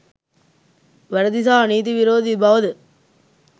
වැරදි සහ නීති විරෝධී බවද